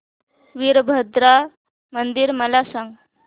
वीरभद्रा मंदिर मला सांग